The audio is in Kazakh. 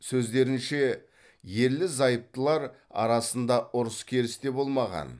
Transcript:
сөздерінше ерлі зайыптылар арасында ұрыс керіс те болмаған